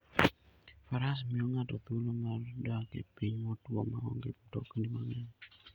Faras miyo ng'ato thuolo mar dak e piny motwo ma onge mtokni mang'eny.